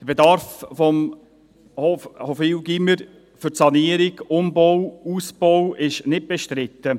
Der Bedarf des Gymnasiums Hofwil an Sanierung, Umbau und Ausbau ist nicht bestritten.